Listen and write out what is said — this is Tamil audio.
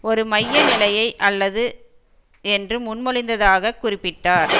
ஒரு மைய நிலையை அல்லது என்று முன்மொழிந்ததாகக் குறிப்பிட்டார்